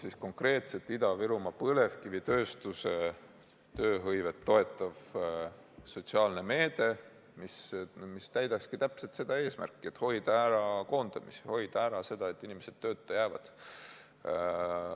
... luua konkreetselt Ida-Virumaa põlevkivitööstuse tööhõivet toetav sotsiaalne meede, mis täidakski täpselt seda eesmärki: hoida ära koondamisi, hoida ära seda, et inimesed tööta jäävad.